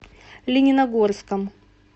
лениногорском